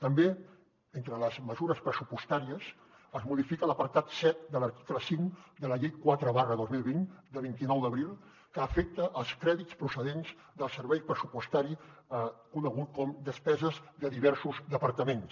també entre les mesures pressupostàries es modifica l’apartat set de l’article cinc de la llei quatre dos mil vint de vint nou d’abril que afecta els crèdits procedents del servei pressupostari conegut com despeses de diversos departaments